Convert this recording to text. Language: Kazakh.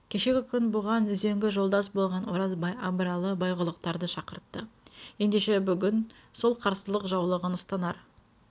кешегі күн бұған үзеңгі жолдас болған оразбай абыралы байғұлақтарды шақыртты ендеше бүгін сол қарсылық жаулығын ұстанар